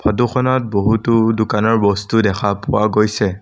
ফটোখনত বহুতো দোকানৰ বস্তু দেখা পোৱা গৈছে।